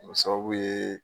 O sababu ye